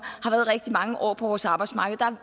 har været rigtig mange år på vores arbejdsmarked der